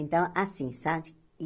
Então, assim, sabe?